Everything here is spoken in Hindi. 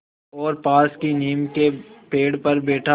और पास की नीम के पेड़ पर बैठा